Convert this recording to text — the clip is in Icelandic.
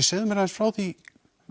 segðu mér aðeins frá því